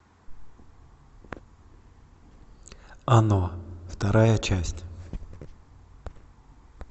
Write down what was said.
оно вторая часть